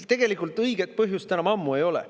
Tegelikult õiget põhjust enam ammu ei ole.